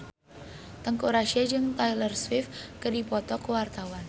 Teuku Rassya jeung Taylor Swift keur dipoto ku wartawan